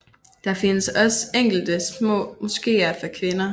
Det findes også enkelte små moskeer for kvinder